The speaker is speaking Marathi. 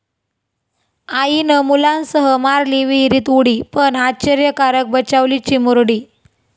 आईनं मुलांसह मारली विहिरीत उडी, पण आश्चर्यकारक बचावली चिमुरडी